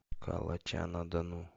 калача на дону